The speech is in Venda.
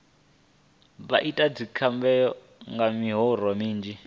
vha ite dzikhebabu nga miroho minzhi